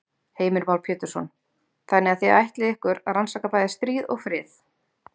Heimir Már Pétursson: Þannig að þið ætlið ykkur að rannsaka bæði stríð og frið?